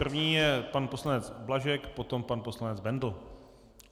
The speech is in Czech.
První je pan poslanec Blažek, potom pan poslanec Bendl.